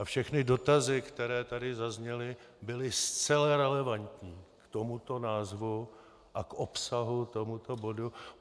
A všechny dotazy, které tady zazněly, byly zcela relevantní k tomuto názvu a k obsahu tohoto bodu.